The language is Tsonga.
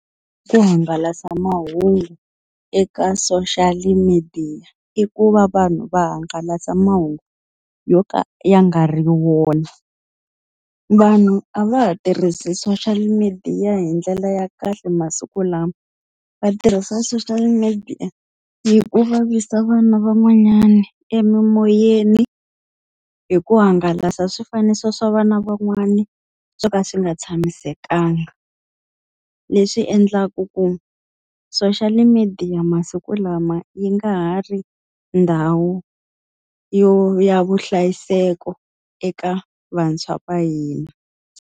Ku hangalasa mahungu eka social-i midiya i ku va vanhu va hangalasa mahungu yo ka ya nga ri wona. Vanhu a va ha tirhisi social midiya hi ndlela ya kahle masiku lawa, va tirhisa social media yi ku vavisa vana van'wanyana emimoyeni hi ku hangalasa swifaniso swa vana van'wani swo ka swi nga tshamisekanga. Leswi endlaku ku social media masiku lama yi nga ha ri ndhawu yo ya vuhlayiseki eka vantshwa va hina.